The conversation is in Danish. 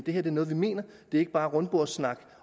her er noget vi mener det er ikke bare rundbordssnak